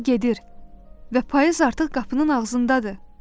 Yay gedir və payız artıq qapının ağzındadır.